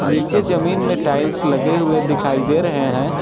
नीचे जमीन में टाइल्स लगे हुए दिखाई दे रहे हैं।